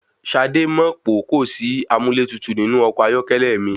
Ṣadé mọ̀ pó kò sí amúlẹ́tutù nínú ọkọ̀ ayọ́kẹ́lẹ́ mi.